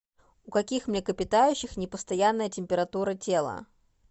у каких млекопитающих непостоянная температура тела